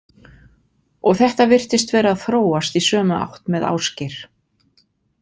Og þetta virtist vera að þróast í sömu átt með Ásgeir.